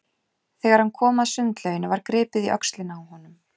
Þegar hann kom að sundlauginni var gripið í öxlina á honum.